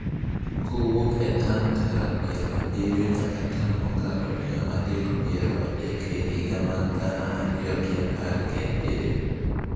Kowuok e tan tara piero abiriyo nyaka tan mokalo mia adek piero adek e higa mar gana ariyo gi apar gi abiriyo.